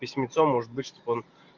письмецо может быть чтоб он